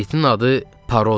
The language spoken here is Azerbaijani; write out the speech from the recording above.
İtin adı Paro-dur.